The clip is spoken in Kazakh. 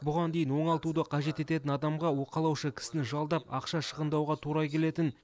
бұған дейін оңалтуды қажет ететін адамға уқалаушы кісіні жалдап ақша шығындауға тура келетін